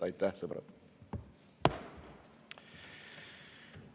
Aitäh, sõbrad!